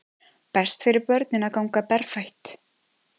Best fyrir börnin að ganga berfætt